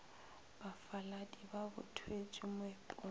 bafaladi ba bo thwetšwe meepong